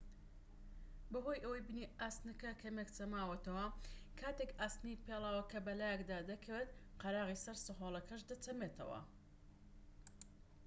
بەهۆی ئەوەی بنی ئاسنەکە کەمێك چەماوەتەوە کاتێك ئاسنی پێڵاوەکە بەلایکەدا دەکەوێت قەراغی سەر سەهۆڵەکەش دەچەمێتەوە